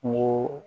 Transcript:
Kungo